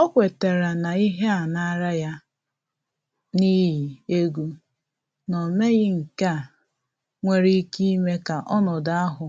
Ọ kwetere na ihe a naala ya, n’ihi egwu na omeghi nkea nwere ike ime ka ọnọdụ ahụ